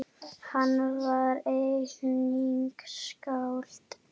Hann var einnig skáld.